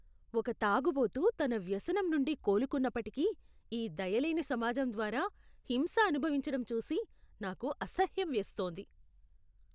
ఒక తాగుబోతు తన వ్యసనం నుండి కోలుకున్నప్పటికీ, ఈ దయలేని సమాజం ద్వారా హింస అనుభవించడం చూసి నాకు అసహ్యం వేస్తోంది.